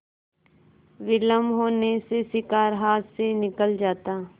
विलम्ब होने से शिकार हाथ से निकल जाता